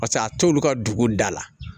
Paseke a t'olu ka dugu da la